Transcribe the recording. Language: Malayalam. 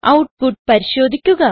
ഔട്ട്പുട്ട് പരിശോധിക്കുക